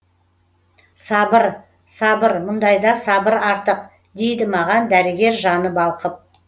сабыр сабыр мұндайда сабыр артық дейді маған дәрігер жаны балқып